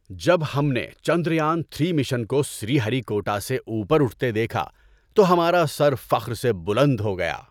جب ہم نے چندریان تھری مشن کو سری ہری کوٹا سے اوپر اٹھتے دیکھا تو ہمارا سر فخر سے بلند ہو گیا۔